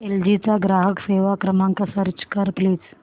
L G चा ग्राहक सेवा क्रमांक सर्च कर प्लीज